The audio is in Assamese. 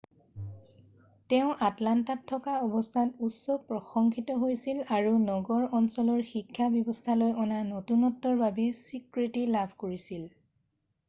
তেওঁ আটলাণ্টাত থকা অৱস্থাত উচ্চ প্ৰশংসিত হৈছিল আৰু নগৰ অঞ্চলৰ শিক্ষা ব্যৱস্থালৈ অনা নতুনত্বৰ বাবে স্বীকৃতি লাভ কৰিছিল